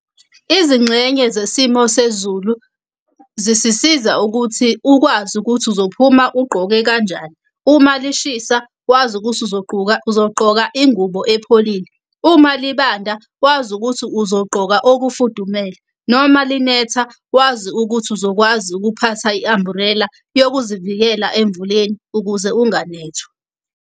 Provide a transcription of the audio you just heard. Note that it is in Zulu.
Izingxenye zesimo sezulu zisisiza ukuthi ukwazi ukuthi uzophuma ugqoke kanjani. Uma lishisa wazi ukuthi uzogqoka uzogqoka ingubo epholile. Uma libanda wazi ukuthi uzogqoka okufudumele. Noma linetha wazi ukuthi uzokwazi ukuphatha i-umbrella yokuzivikela emvuleni ukuze unganethwa.